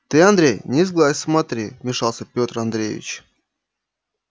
ты андрей не сглазь смотри вмешался пётр андреевич